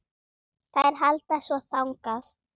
Þær halda svo þangað.